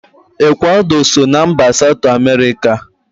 Ekwado so na mba Satu Emerika